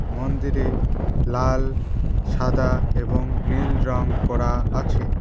মন্দিরে লাল সাদা এবং নীল রং করা আছে।